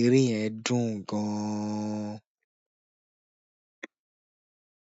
Eré yẹn dùn gan-an.